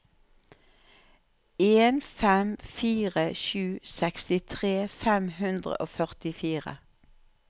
en fem fire sju sekstitre fem hundre og førtifire